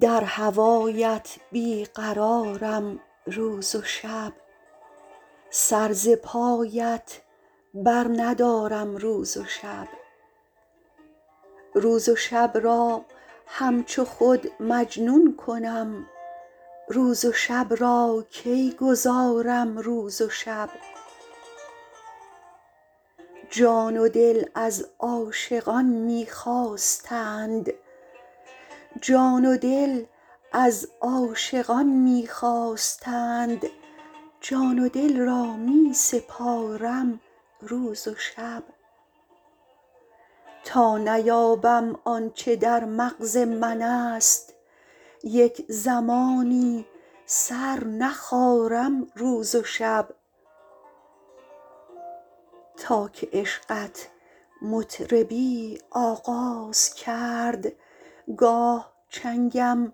در هوایت بی قرارم روز و شب سر ز پایت برندارم روز و شب روز و شب را همچو خود مجنون کنم روز و شب را کی گذارم روز و شب جان و دل از عاشقان می خواستند جان و دل را می سپارم روز و شب تا نیابم آن چه در مغز منست یک زمانی سر نخارم روز و شب تا که عشقت مطربی آغاز کرد گاه چنگم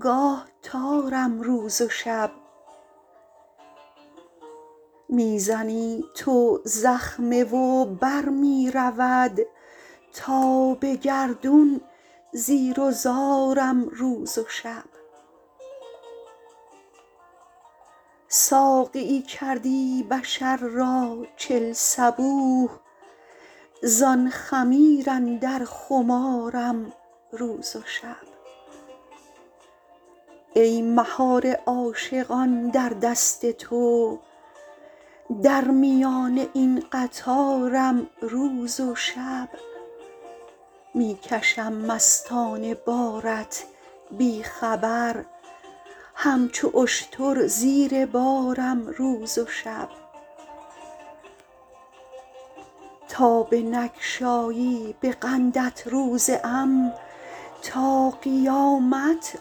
گاه تارم روز و شب می زنی تو زخمه و بر می رود تا به گردون زیر و زارم روز و شب ساقیی کردی بشر را چل صبوح زان خمیر اندر خمارم روز و شب ای مهار عاشقان در دست تو در میان این قطارم روز و شب می کشم مستانه بارت بی خبر همچو اشتر زیر بارم روز و شب تا بنگشایی به قندت روزه ام تا قیامت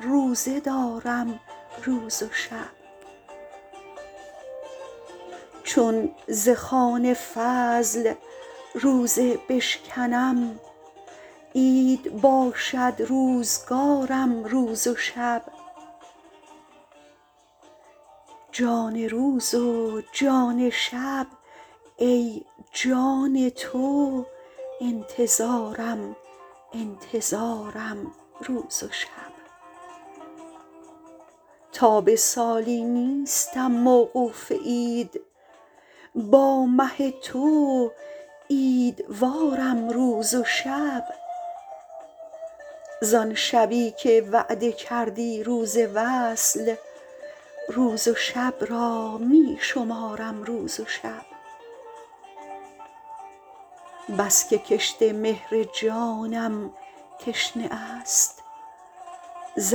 روزه دارم روز و شب چون ز خوان فضل روزه بشکنم عید باشد روزگارم روز و شب جان روز و جان شب ای جان تو انتظارم انتظارم روز و شب تا به سالی نیستم موقوف عید با مه تو عیدوارم روز و شب زان شبی که وعده کردی روز وصل روز و شب را می شمارم روز و شب بس که کشت مهر جانم تشنه است ز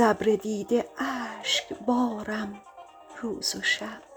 ابر دیده اشکبارم روز و شب